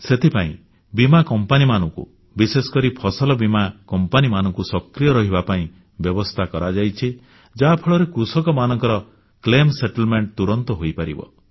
ସେଥିପାଇଁ ବୀମା କମ୍ପାନୀମାନଙ୍କୁ ବିଶେଷକରି ଫସଲ ବୀମା କମ୍ପାନୀମାନଙ୍କୁ ସକ୍ରିୟ ରହିବା ପାଇଁ ବ୍ୟବସ୍ଥା କରାଯାଇଛି ଯାହାଫଳରେ କୃଷକମାନଙ୍କର କ୍ଷତିପୂରଣ ଦାବିର ଫଏସଲା ତୁରନ୍ତ ହୋଇପାରିବ